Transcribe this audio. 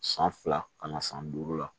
San fila kana san duuru la